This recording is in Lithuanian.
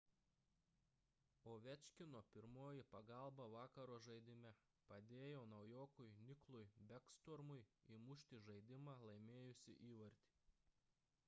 ovečkino pirmoji pagalba vakaro žaidime – padėjo naujokui niklui bekstormui įmušti žaidimą laimėjusį įvartį